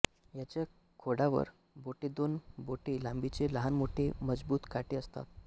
ह्याच्या खोडावर बोटेदोन बोटे लांबीचे लहान मोठे मजबूत काटे असतात